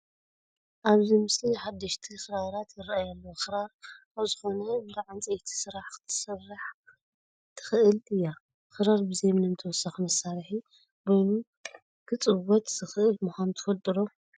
ኣብዚ ምስሊ ሓደሽቲ ክራራት ይርአያ ኣለዋ፡፡ ክራር ኣብ ዝኾነ እንዳ ዕንጨይቲ ስራሕ ክትስራሕ ትኽእል እያ፡፡ ክራር ብዘይ ምንም ተወሳኪ መሳርሒ በይኑ ክፅወት ዝኽእል ምዃኑ ትፈልጡ ዶ?